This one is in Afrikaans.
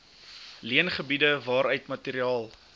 leengebiede waaruit materiaal